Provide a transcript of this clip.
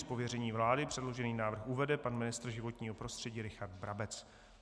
Z pověření vlády předložený návrh uvede pan ministr životního prostředí Richard Brabec.